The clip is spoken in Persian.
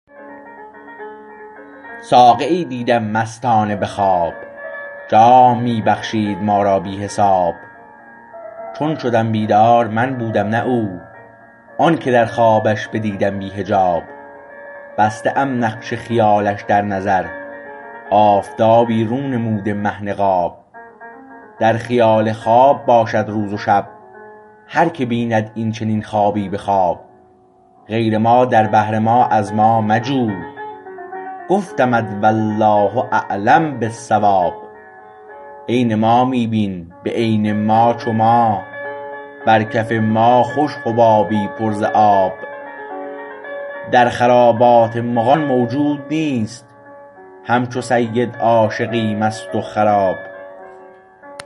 ساقیی دیدیم مستانه به خواب جام می بخشید ما را بی حساب چون شدم بیدار من بودم نه او آنکه در خوابش بدیدم بی حجاب بسته ام نقش خیالش در نظر آفتابی رو نموده مه نقاب در خیال خواب باشد روز و شب هر که بیند این چینین خوابی به خواب غیر ما در بحر ما از ما مجو گفتمت والله اعلم بالصواب عین ما می بین به عین ما چو ما بر کف ما خوش حبابی پر ز آب در خرابات مغان موجود نیست همچو سید عاشقی مست و خراب